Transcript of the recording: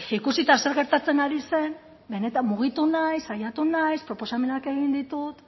ikusita zer gertatzen ari zen benetan mugitu naiz saiatu naiz proposamenak egin ditut